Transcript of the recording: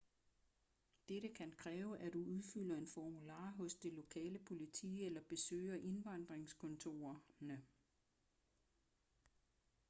dette kan kræve at du udfylder en formular hos det lokale politi eller besøger indvandringskontorerne